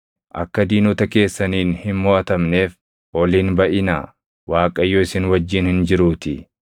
Akka diinota keessaniin hin moʼatamneef ol hin baʼinaa; Waaqayyo isin wajjin hin jiruutii;